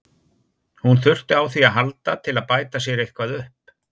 Hún þurfti á því að halda til að bæta sér eitthvað upp.